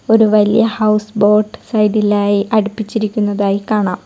ഒരു വലിയ houseboat side ഇലായി അടുപ്പിച്ചിരിക്കുന്നതായി കാണാം.